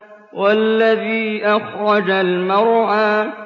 وَالَّذِي أَخْرَجَ الْمَرْعَىٰ